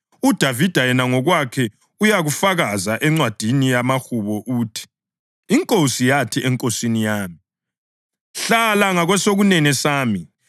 UDavida yena ngokwakhe uyakufakaza eNcwadini yamaHubo uthi: ‘INkosi yathi eNkosini yami: “Hlala ngakwesokunene sami,